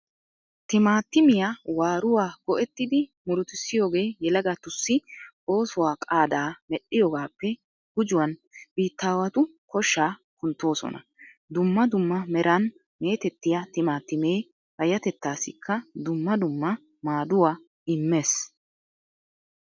Timaatimiya waaruwa go"ettidi murutissiyogee yelagatussi oosuwa qaadaa medhdhiyogaappe gujuwan biittaawatu koshshaa kunttoosona. Dumma dumma meran meetettiya Timaatimee payyatettaassikka dumma dumma maaduwa immees.